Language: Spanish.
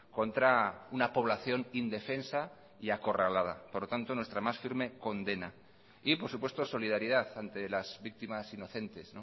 contra una población indefensa y acorralada por lo tanto nuestra más firme condena y por supuesto solidaridad ante las víctimas inocentes